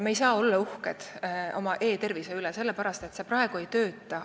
Me ei saa olla uhked oma e-tervise üle, sellepärast et praegu see ei tööta.